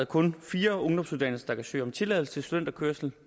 kun fire ungdomsuddannelser der kan søge om tilladelse til studenterkørsel